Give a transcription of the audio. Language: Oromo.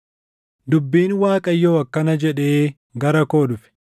Dubbiin Waaqayyoo akkana jedhee gara koo dhufe: